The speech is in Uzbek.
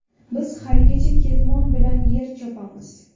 Biz haligacha ketmon bilan yer chopamiz.